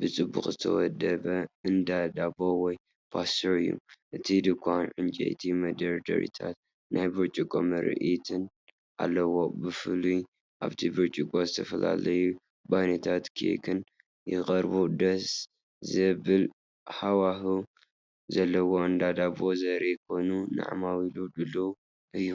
ብጽቡቕ ዝተወደበን እንዳ ዳቦ ወይ ፓስተር እዩ። እቲ ድኳን ዕንጨይቲ መደርደሪታትን ናይ ብርጭቆ ምርኢትን ኣለዎ። ብፍላይ ኣብቲ ብርጭቆ ዝተፈላለዩ ባኒታትን ኬክን ይቐርቡ። ደስ ዘብል ሃዋህው ዘለዎ እንዳ ዳቦ ዘርኢ ኮይኑ ንዓማዊል ድሉው እዩ።